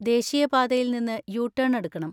ദേശീയപാതയിൽ നിന്ന് U turn എടുക്കണം.